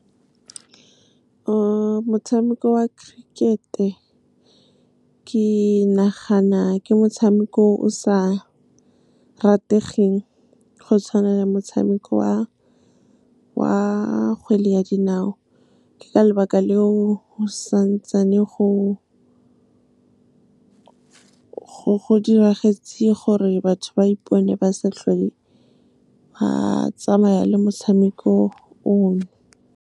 Motshameko wa cricket-e ke nagana ke motshameko o sa rategeng go tshwana motshameko wa kgwele ya dinao. Ke ka lebaka leo go santsane go diragetse gore batho ba ipone ba sa tlhole ba tsamaya le motshameko o o.